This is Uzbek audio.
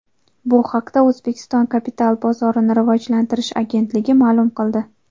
Bu haqda O‘zbekiston Kapital bozorini rivojlantirish agentligi ma’lum qildi .